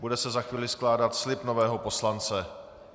Bude se za chvíli skládat slib nového poslance.